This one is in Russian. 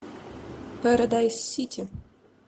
парадайз сити